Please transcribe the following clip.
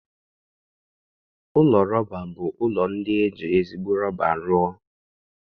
Ụlọ rọba bụ ụlọ ndị e ji ezigbo rọba rụọ